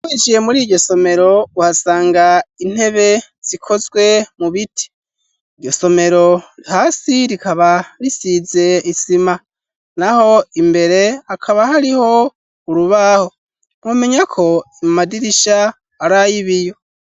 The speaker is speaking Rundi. Winjiye muri iryo somero uhasanga intebe zikozwe mu biti, iryo somero hasi rikaba risize isima naho imbere akaba hariho urubaho numenyako amadirisha arayibiyo.